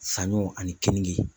Saɲɔ ani keninge